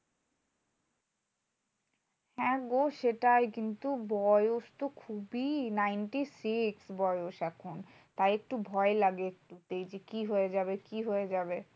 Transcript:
হ্যাঁ গো সেটাই। কিন্তু বয়স তো খুবই ninety-six বয়স এখন। তাই একটু ভয় লাগে যে, কি হয়ে যাবে? কি হয়ে যাবে?